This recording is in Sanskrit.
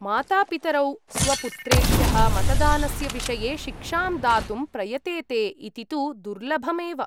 मातापितरौ स्वपुत्रेभ्यः मतदानस्य विषये शिक्षां दातुं प्रयतेते इति तु दुर्लभम् एव।